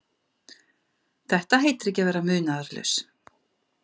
Þetta heitir ekki að vera munaðarlaus.